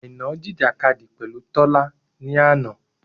Àìná jìjìkadì pẹ̀lú Tọ́lá ni àná.